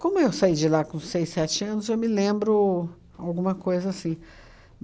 Como eu saí de lá com seis, sete anos, eu me lembro alguma coisa assim.